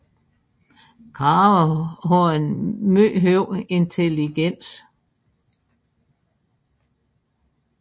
Krager har en meget høj intelligens